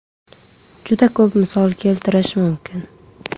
Juda ko‘p misol keltirishim mumkin.